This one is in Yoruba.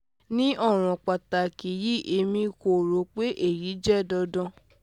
ni ọran pataki yii emi ko ro pe eyi jẹ dandan